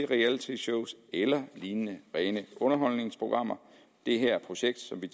realityshows eller lignende rene underholdningsprogrammer det her projekt som vi